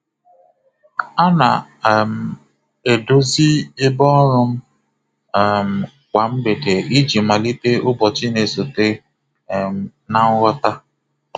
A na um m edozi ebe ọrụ m um kwa mgbede iji malite ụbọchị na-esote um na nghọta.